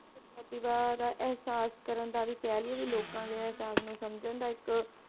ਪ੍ਰਤਿਭਾ ਦਾ ਅਹਿਸਾਸ ਕਰਨ ਦਾ ਵੀ ਕਹਿ ਲਈਏ ਵੀ ਲੋਕਾਂ ਦੇ ਅਹਿਸਾਸ ਨੂੰ ਸਮਝਣ ਦਾ ਇੱਕ,